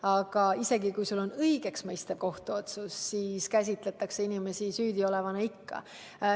Aga isegi siis, kui on tehtud õigeksmõistev kohtuotsus, käsitletakse inimesi ikka süüdiolevana.